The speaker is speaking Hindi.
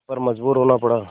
पर मजबूर होना पड़ा